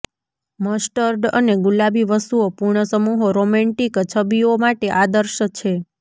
mustard અને ગુલાબી વસ્તુઓ પૂર્ણ સમૂહો રોમેન્ટિક છબીઓ માટે આદર્શ છે